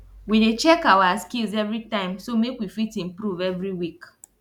we dey check awa skills everytime so make we fit improve every week